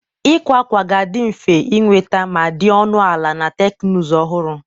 Ịkwa akwa ga-adị mfe ịnweta ma dị ọnụ ala, na teknụzụ ọhụrụ.